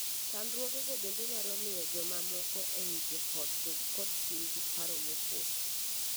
Chadruogego bende nyalo miyo joma moko ei joot bed kod chuny gi paro mool.